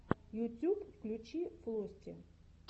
ютюб включи флости